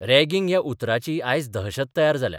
Ragging ह्या उतराची आज दहशत तयार जाल्या.